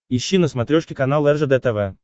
ищи на смотрешке канал ржд тв